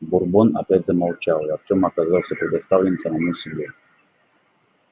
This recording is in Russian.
бурбон опять замолчал и артем оказался предоставлен самому себе